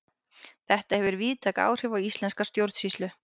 Þetta hefur víðtæk áhrif á íslenska stjórnsýslu.